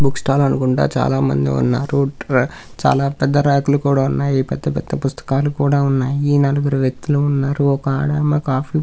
Book stall అనుకుంటా చాలా మంది ఉన్నారు.చాలా పెద్ద రేక్ లు కూడా ఉన్నాయి. పెద్ద పెద్ద పుస్తకాలు కూడా ఉన్నాయి. ఈ నలుగురు వ్యక్తులు ఉన్నారు. ఒక ఆడామె కాఫీ --